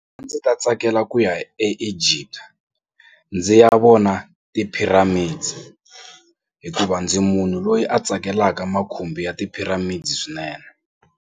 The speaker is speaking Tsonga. A ndzi ta tsakela ku ya eEgypt ndzi ya vona ti-pyramids hikuva ndzi munhu loyi a tsakelaka makhumbi ya ti-pyramids swinene.